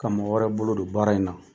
Ka mɔgɔ wɛrɛ bolo don baara in na